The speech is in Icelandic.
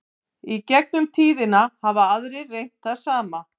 í gegnum tíðina hafa aðrir reynt það sama